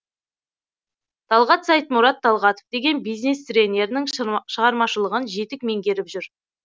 талғат сайтмұрат талғатов деген бизнес тренерінің шығармашылығын жетік меңгеріп жүр